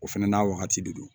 O fɛnɛ n'a wagati de don